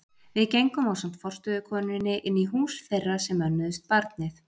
Við gengum ásamt forstöðukonunni inn í hús þeirra sem önnuðust barnið.